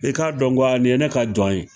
E k'a dɔn ko a nin ye ne ka jɔn ye